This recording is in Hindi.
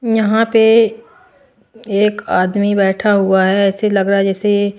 यहां पे एक आदमी बैठा हुआ है ऐसे लग रहा है जैसे--